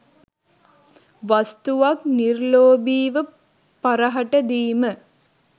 වස්තුවක් නිර්ලෝභීව පරහට දීම